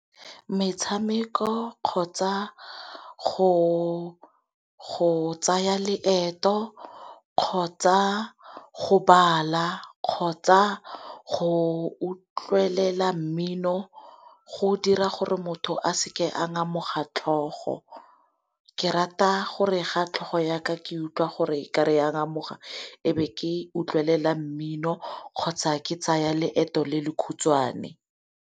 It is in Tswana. Metshameko, kgotsa go tsaya leeto, kgotsa go bala, kgotsa go utlwelela mmino go dira gore motho a se ke a ngamoga tlhogo. Ke rata gore ga tlhogo ya ka ke utlwa gore okare ya ngamoga ebe ke utlwelela mmino kgotsa ke tsaya leeto le le khutswane.